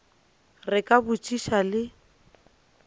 re ke a botšiša le